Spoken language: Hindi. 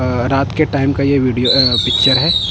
अअ रात के टाइम का ये वीडियो अ पिक्चर हैं।